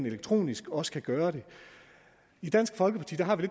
elektronisk også kan gøre det i dansk folkeparti har vi